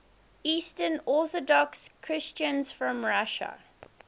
eastern orthodox christians from russia